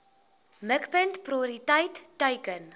mikpunt prioriteit teiken